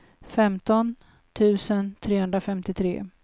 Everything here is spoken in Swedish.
femton tusen trehundrafemtiotre